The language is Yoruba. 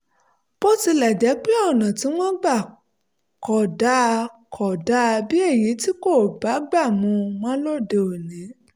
bó tilẹ̀ jẹ́ pé ọ̀nà tí wọ́n gbà kọ ọ́ dà kọ ọ́ dà bí èyí tí kò bágbà mu mọ́ lóde òní